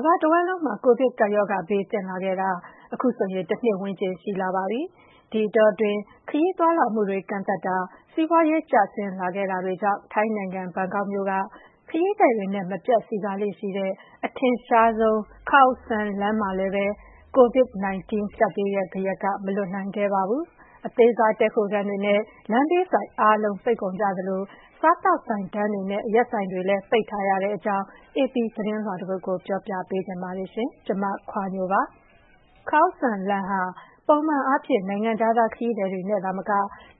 မ္ဘာတဝန်းလုံး ကိုဗစ်ကပ်ရောဂါဘေးသင့်လာခဲ့တာ အခုဆို တနှစ်ဝန်းကျင် ရှိလာပါပြီ။ ဒီအတော အတွင်း ခရီးသွားလာမှုတွေ ကန့်သတ်တာ၊ စီးပွါးရေးကျဆင်းလာခဲ့တာတွေကြောင့် ထိုင်းနိုင်ငံ၊ ဘန်ကောက်မြို့က ခရီးသည်တွေနဲ့မပြတ်စည်ကားနေလေ့ရှိတဲ့ အထင်ရှားဆုံး Khaosan လမ်းလည်းပဲ ကိုဗစ်-၁၉ကပ်ဘေးရဲ့ဂယက်က မလွတ်နိုင်ခဲ့ပါဘူး။ အသေးစား တည်းခိုခန်းတွေနဲ့ လမ်းဘေးဆိုင် အားလုံး ပိတ်ကုန်ကြသလို စားသောက်ဆိုင်တန်းတွေနဲ့အရက်ဆိုင်တွေ ပိတ်ထားကြရတဲ့အကြောင်း အေပီသတင်းလွှာတပုဒ်ကို ဒေါ်ခွါညိုက ပြောပြပေးပါမယ်။ Khao San လမ်းဟာ ပုံမှန်အားဖြင့် နိုင်ငံခြားသားခရီးသည်တွေနဲ့သာမက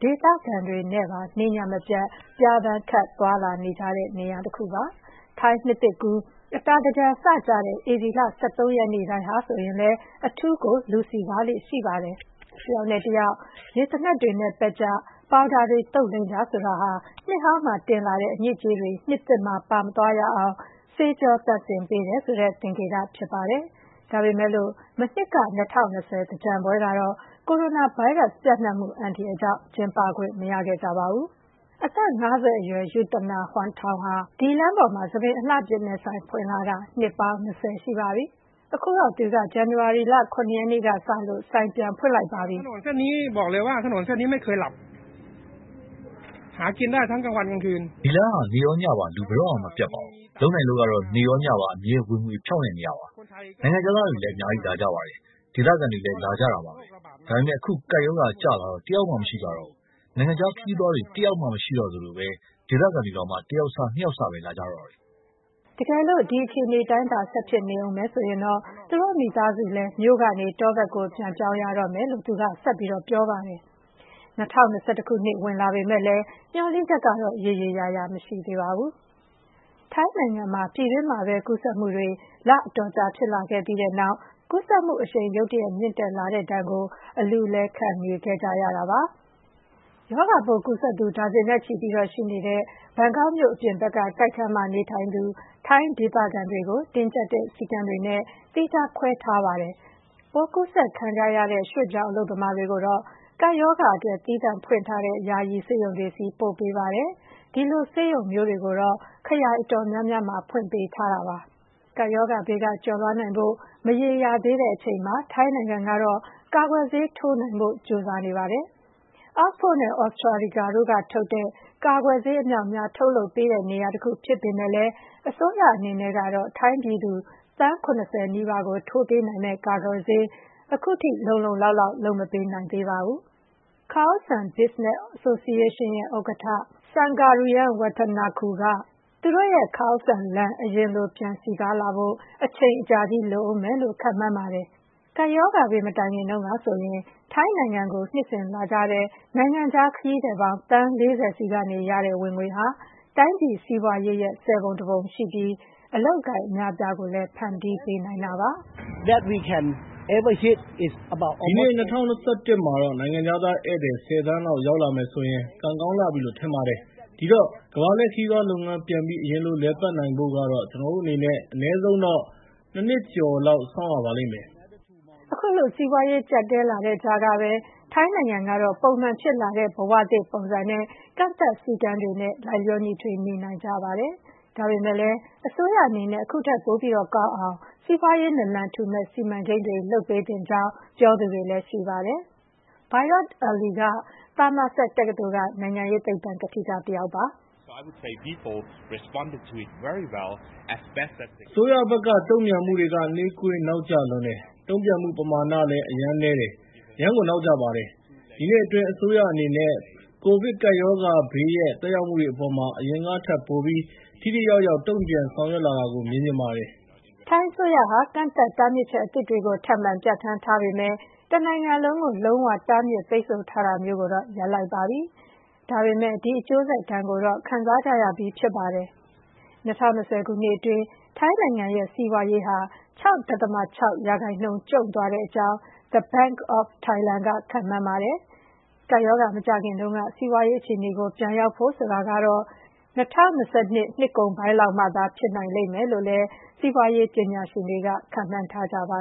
ဒေသခံတွေနဲ့ပါ နေ့ည မပြတ် ပျားပန်းခပ်သွားလာ နေကြတဲ့ နေရာတခုပါ။ ထိုင်းနှစ်သစ်ကူး၊ အတာသင်္ကြန်စကျတဲ့ ဧပြီလ ၁၃ ရက်နေ့တိုင်းဟာဆိုရင်လည်း အထူးကို လူစည်ကားလေ့ရှိပါတယ်။ တယောက်ကိုတယောက် ရေသေနတ်တွေနဲ့ ရေပက်ကြ၊ ပေါင်ဒါတွေ သုတ်လိမ်းကြဆိုတာဟာ နှစ်ဟောင်းမှာတင်လာတဲ့ အညစ်အကြေးတွေကို နှစ်သစ်မှာ ပါမသွားရအောင် ဆေးကြောသန့်စင်ပေး တယ်ဆိုတဲ့ သင်္ကေတဖြစ်ပါတယ်။ ဒါပေမယ့်လို့ မနှစ်က ၂၀၂၀ သင်္ကြန်ပွဲကတော့ ကိုရိုနာဗိုင်းရပ်စ် ပြန့်နှံ့မှု အန္တရာယ်ကြောင့် ကျင်းပခွင့် မရခဲ့ကြပါဘူး။ အသက် ၅၀ အရွယ် Yuthana Huangthong ဟာ ဒီလမ်းပေါ်မှာ ဆံပင်အလှပြင်တဲ့ဆိုင် ဖွင့်လာလာတာ နှစ်ပေါင်း ၂၀ ရှိပါပြီ။အခုတော့ သူက ဇန်နဝါရီလ ၇ ရက်နေ့မှာ ဆိုင်ပြန်ဖွင့်လိုက်ပါပြီ။ “ဒီလမ်းဟာ နေ့ရောညပါ လူဘယ်တော့မှ မပြတ်ပါဘူး။ လုပ်နိုင်လို့ကတော့ နေ့ရော ညပါ အမြဲ ဝင်ငွေ ဖြောင့်တဲ့နေရာပေါ့။ နိုင်ငံခြားသားတွေလည်းအများကြီးလာကြတယ်။ ဒေသခံတွေလည်း လာကြတာ ပါပဲ။ ဒါပေမယ့် အခု ကပ်ရောဂါကျလာတော့ တယောက်မှ မရှိကြတော့ဘူး။ နိုင်ငံခြားခရီးသွားတွေ တယောက်မှ မရှိတော့သလို ဒေသခံတွေတောင်မှ တယောက်စ နှစ်ယောက်စပဲ လာကြတော့တယ်။” တကယ်လို့ ဒီအခြေအနေတိုင်းသာ ဆက်ဖြစ်နေအုံးမယ်ဆိုရင်တော့ သူတို့မိသားစုလည်း မြို့ကနေ တောဘက်ကို ပြန်ပြောင်းရတော့မယ်လို့ သူက ပြောပါတယ်။ ၂၀၂၁ ခုနှစ်ဝင်လာပေမယ့်လည်း မျှော်လင့်ချက်ရေရေ ရာရာမရှိသေးပါဘူး။ ထိုင်းနိုင်ငံမှာ ပြည်တွင်းမှာပဲကူးစက်မှုတွေ လအတော်ကြာ ဖြစ်လာခဲ့ပြီးတဲ့နောက် ကူးစက်မှုအရှိန် ရုတ်တရက်မြင့်တက်လာတဲ့ဒဏ်ကို အလူးအလဲ ခံနေခဲ့ရပါတယ်။ ရောဂါပိုးကူးစက်သူ ဒါဇင်နဲ့ချီရှိနေကြတဲ့ ဘန်ကောက်မြို့အပြင်ဘက်က တိုက်ခန်းမှာနေထိုင်သူ ထိုင်း ဒေသခံတွေကို တင်းကြပ်တဲ့ စည်းကမ်းတွေနဲ့ သီးခြားခွဲထားပါတယ်။ ပိုးကူးစက်ခံနေကြရတဲ့ ရွှေ့ပြောင်းအလုပ်သမားတွေကိုတော့ ကပ်ရောဂါအတွက် သီးသန့်ဖွင့်ထားတဲ့ ယာယီ ဆေးရုံတွေဆီ ပို့ပေးပါ တယ်။ ဒီလိုဆေးရုံမျိုးတွေကိုတော့ ခရိုင်အတော်များများမှာ ဖွင့်ပေးထားတာပါ။ ကပ်ရောဂါဘေးက ကျော်လွှားနိုင်ဖို့ မရေရာသေးတဲ့အချိန်မှာ ထိုင်းနိုင်ငံကတော့ ကာကွယ်ဆေး ထိုး နိုင်ဖို့ ကြိုးစားနေပါပြီ။ oxford နဲ့ Astrazeneca တို့ကထုတ်တဲ့ ကာကွယ်ဆေးအမြောက်အများ ထုတ်ပေးတဲ့နေရာတခုဖြစ်ပေမယ့်လည်း၊ အစိုးရအနေနဲ့ကတော့ ထိုင်း ပြည်သူ သန်း ၇၀ နီးပါးကို ထိုးပေးနိုင်မယ့် ကာကွယ် ဆေး အခုထိ လုံလုံလောက်လောက် လုပ်မပေးနိုင်သေးပါဘူး။ Khao San Business Association ရဲ့ ဥက္ကဋ္ဌ Sanga Ruangwattanakul က သူတို့ရဲ့ Khao San လမ်း အရင်လို ပြန်စည်ကားလာဖို့ အချိန်အကြာကြီးလိုမယ်အုံးမယ်လို့ ခန့်မှန်းပါတယ်။ ကပ်ရောဂါဘေး မတိုင်ခင်တုန်းကဆိုရင် ထိုင်းနိုင်ငံကို နှစ်စဉ်လာကြတဲ့ နိုင်ငံခြားခရီးသည်ပေါင်း သန်း ၄၀ ဆီကရတဲ့ ဝင်ငွေဟာ တိုင်းပြည်ရဲ့စီးပွါးရေးရဲ့ ဆယ်ပုံတပုံရှိပြီး အလုပ်အကိုင်အများအပြားကိုလည်း ဖန်တီးပေးနိုင်တာ ဖြစ်ပါတယ်။ “ဒီနှစ် ၂၀၂၁ မှာတော့ နိုင်ငံခြားသားဧည့်သည် ၁၀ သန်းလောက် ရောက်လာမယ်ဆိုရင် ကံကောင်း လှပြီလို့ ထင်ပါတယ်။ ဒီတော့ ကမ္ဘာလှည့်ခရီးသွားလုပ်ငန်းပြန်ပြီး အရင်လို လည်ပတ်နိုင်ဖို့ကတော့ ကျနော်တို့အနေနဲ့ အနည်းဆုံးတော့ ၂ နှစ်ကျော်လောက် စောင့်ရပါလိမ့်မယ်။” အခုလို စီးပွါးရေးကြပ်တည်းလာတဲ့ကြားကပဲ ထိုင်းနိုင်ငံကတော့ ပုံမှန်ဖြစ်လာတဲ့ ဘဝသစ်ပုံစံနဲ့ ကန့်သတ် စည်းကမ်းတွေနဲ့ လိုက်လျောညီထွေ နေနိုင်ကြပါတယ်။ ဒါပေမယ့်လည်း အစိုးရအနေနဲ့ အခုထက်ပိုပြိး ကောင်းအောင် စီးပွားရေးနလံထူမယ့် စီမံကိန်းတွေလုပ်ပေးသင့်ကြောင်း ပြောသူတွေလည်း ရှိပါတယ်။ Virot Ali က သာမာဆတ် တက္ကသိုလ်က နိုင်ငံရေးသိပ္ပံကထိကတယောက်ပါ။ “အစိုးရဘက်က တုံ့ပြန်မှုတွေက နှေးကွေး နောက်ကျလွန်းတယ်။ တုံ့ပြန်မှုပမာဏလည်း အရမ်းနည်းတယ်၊ အရမ်းကိုနောက်ကျပါတယ်။ဒီနှစ်အတွင်းအစိုးရအနေနဲ့ ပိုဗစ်ကပ်ရောဂါဘေးရဲ့ သက်ရောက်မှုတွေအပေါ်မှာ အရင်ကထက်ပိုပြီး ထိထိရောက်ရောက် တုံ့ပြန်ဆောင်ရွက်လာတာကို မြင်ချင်ပါတယ်။” ထိုင်းအစိုးရဟာ ကန့်သတ်တားမြစ်ချက်အသစ်တွေကို ထပ်မံပြဌာန်းထားပေမယ့် တနိုင်ငံလုံးကို လုံးဝတားမြစ်ပိတ်ဆို့ထားတာမျိုးတော့ ရပ်လိုက်ပါပြီ။ ဒါပေမယ့် ဒီအကျိုးဆက် ဒဏ်ကိုတော့ ခံစားကြရပြီးဖြစ်ပါတယ်။ ၂၀၂၀ ခုနှစ်အတွင်း ထိုင်းနိုင်ငံရဲ့စီးပွါးရေးဟာ ၆.၆ % ကျုံသွားကြောင်း The Bank of Thailand က ခန့်မှန်းထားပါတယ်။ ကပ်ရောဂါမကျခင်က စီးပွါးရေးအခြေအနေကို ပြန်ရောက်ဖို့ဆိုတာကတော့ ၂၀၂၂ နှစ်ကုန်လောက်မှသာ ဖြစ်နိုင်လိမ့်မယ်လို့လည်း စီးပွါးရေးပညာရှင်တွေက ခန့်မှန်းထားကြပါ